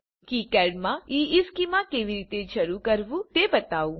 ચાલો કિકાડ માં ઇશ્ચેમાં કેવી રીતે શરૂ કરવું તે બતાવું